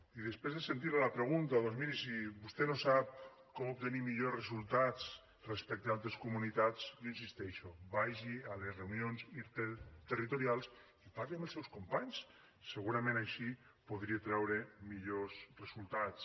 i després de sentir la a la pregunta doncs miri si vostè no sap com obtenir millors resultats respecte a altres comunitats jo hi insisteixo vagi a les reunions interterritorials i parli amb els seus companys segurament així podria treure millors resultats